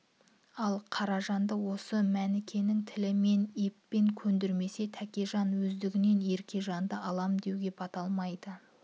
ал қаражанды осы мөнікенің тілімен еппен көндірмесе тәкежан өздігінен еркежанды алам деуге бата алмайды